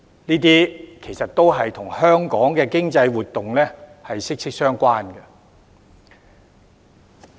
這些其實都與香港的經濟活動息息相關。